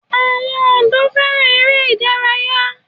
àwọn ọ̀dọ́ fẹ́ràn eré ìdárayá.